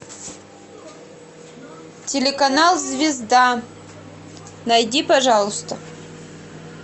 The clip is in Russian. телеканал звезда найди пожалуйста